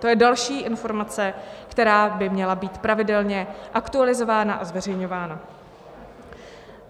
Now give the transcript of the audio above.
To je další informace, která by měla být pravidelně aktualizována a zveřejňována.